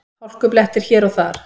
Hálkublettir hér og þar